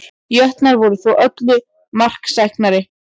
Jötnar voru þó öllu marksæknari